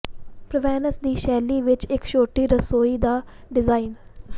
Provence ਦੀ ਸ਼ੈਲੀ ਵਿਚ ਇਕ ਛੋਟੀ ਰਸੋਈ ਦਾ ਡਿਜ਼ਾਇਨ